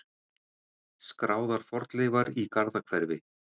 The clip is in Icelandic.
Skráðar fornleifar í Garðahverfi.